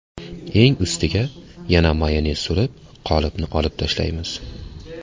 Eng ustiga yana mayonez surib, qolipni olib tashlaymiz.